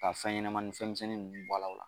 Ka fɛn ɲɛnama ni fɛnmisɛn ninnu bɔ a la o la.